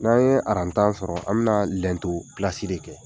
N'an ye aran tan sɔrɔ an bɛ na na lɛnto pilasi de kɛ.